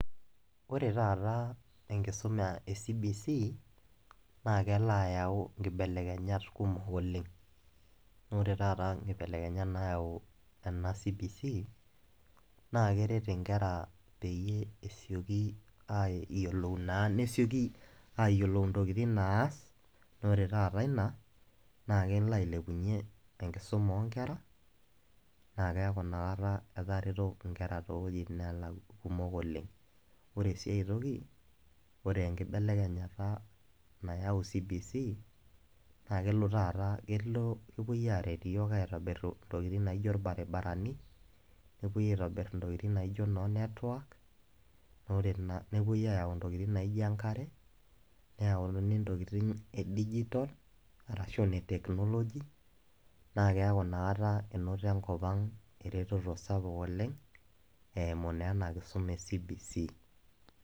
Ore taata enkisuma ecbc naa kelo ayau nkibelekenyat kumok oleng , amu ore taata nkibelekenyat nayau ena cbc naa keret inkera peyie esioki ayiolou naa , nesioki ayiolou ntokitin naas naa ore taata ina naa kelo ailepunyie enkisuma onkera naa keaku inakata etareto nkera toowuejitin nelak kumok oleng .Ore siae toki ore enkibelekenyata nayau cbc naa kelo taata, kelo, kepuoi aret iyiook aitobir ntokitin naijo irbaribarani nepuoi aitobir ntokitin naijo noonetwork naa ore naa nepuoi ayau ntokitin naijo enkare, neyauni ntokitin edigital arashu inetechnology naa keaku inakata enoto enkop ang ereteto sapuk oleng eimu naa ena kisuma ecbc.